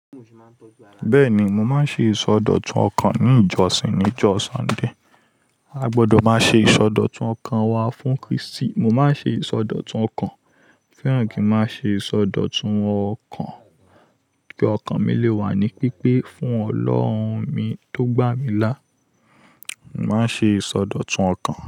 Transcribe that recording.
Bẹ́ẹ̀ni, mo máa ń ṣe ìsọdọ̀tun ọkàn ní ìjọsìn ní jọ Sunday. A gbọdọ̀ máa ṣe ìsọdọ̀tun ọkàn wa fún Kristi. Mo máa ń ṣe ìsọdọ̀tun ọkàn, fẹ́ràn kí n máa ṣe ìsọdọ̀tun ọkàn ki ọkàn mi lè wà ní pípé fún Ọlọ́run mi tó gbà mí lá. Mo máa ń ṣe ìsọdọ̀tun ọkàn.